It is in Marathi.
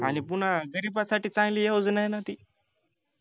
आणि पून्हा गरिबासाठी चांगली योजनायना ती